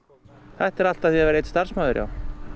þetta er allt að því að vera einn starfsmaður já